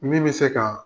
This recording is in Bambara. Min bɛ se ka